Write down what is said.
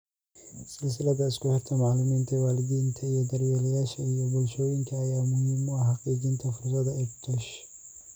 Silsilada isku xirka macalimiinta , waalidiinta iyo daryeelayaasha , iyo bulshooyinka ayaa muhiim u ah xaqiijinta fursadaha EdTechuse .